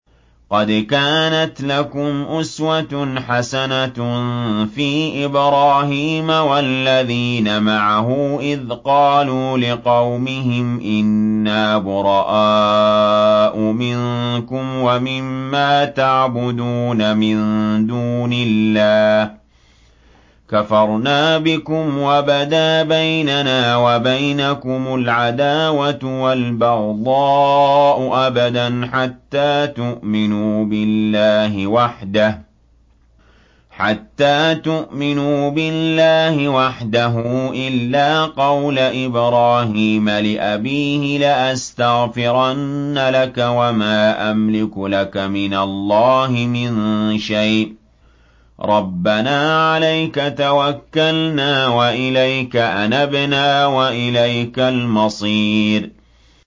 قَدْ كَانَتْ لَكُمْ أُسْوَةٌ حَسَنَةٌ فِي إِبْرَاهِيمَ وَالَّذِينَ مَعَهُ إِذْ قَالُوا لِقَوْمِهِمْ إِنَّا بُرَآءُ مِنكُمْ وَمِمَّا تَعْبُدُونَ مِن دُونِ اللَّهِ كَفَرْنَا بِكُمْ وَبَدَا بَيْنَنَا وَبَيْنَكُمُ الْعَدَاوَةُ وَالْبَغْضَاءُ أَبَدًا حَتَّىٰ تُؤْمِنُوا بِاللَّهِ وَحْدَهُ إِلَّا قَوْلَ إِبْرَاهِيمَ لِأَبِيهِ لَأَسْتَغْفِرَنَّ لَكَ وَمَا أَمْلِكُ لَكَ مِنَ اللَّهِ مِن شَيْءٍ ۖ رَّبَّنَا عَلَيْكَ تَوَكَّلْنَا وَإِلَيْكَ أَنَبْنَا وَإِلَيْكَ الْمَصِيرُ